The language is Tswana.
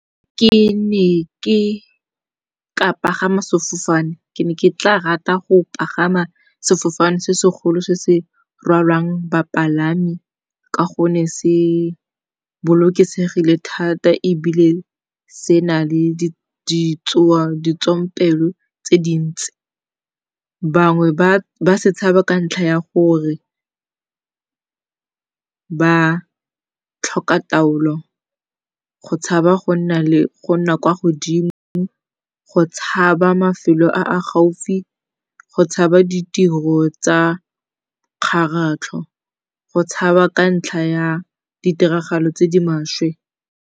Ke ne ke ka pagama sefofane, ke ne ke tla rata go pagama sefofane se se golo se se rwalang bapalami ka gonne se bolokesegile thata ebile se na le ditswampelo tse dintsi. Bangwe ba tshaba ka ntlha ya gore ba tlhoka taolo, go tshaba go nna kwa godimo, go tshaba mafelo a a gaufi, go tshaba ditiro tsa kgaratlho, go tshaba ka ntlha ya ditiragalo tse di maswe.